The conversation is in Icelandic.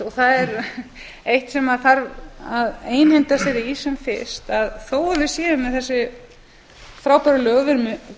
það er eitt sem þarf að einhenda sér í sem fyrst að þó að við séum með þessi frábæru lög við erum með